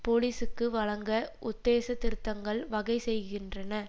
போலிசுக்கு வழங்க உத்தேசத் திருத்தங்கள் வகை செய்கின்றன